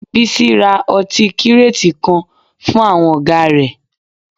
Bísí ra ọtí kíràtì kan fún àwọn ọ̀gá rẹ̀